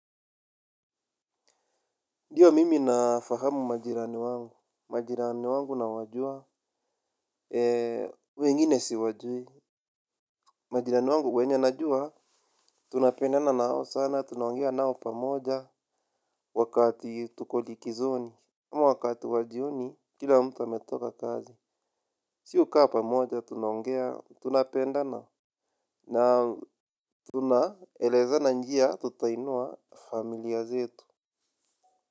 Ndiyo mimi nafahamu majirani wangu, majirani wangu na wajua, ee, wengine siwajui, majirani wangu wenye najua, tunapendana nao sana, tunaonga nao pamoja, wakati tuko likizoni, wakati wa jioni, kila mtu ametoka kazi, si hukaa pamoja, tunaongea, tunapendana, na tunaelezana njia, tutainua familia zetu.